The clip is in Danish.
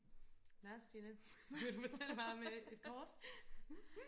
nå Stine fortæl mig om øh et kort